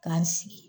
K'an sigi